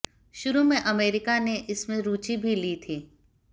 शुरू में अमेरिका ने इसमें रुचि भी ली थी